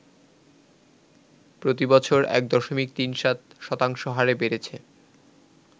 প্রতিবছর ১.৩৭% হারে বেড়েছে